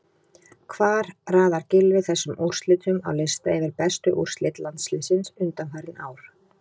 Hvar raðar Gylfi þessum úrslitum á lista yfir bestu úrslit landsliðsins undanfarin ár?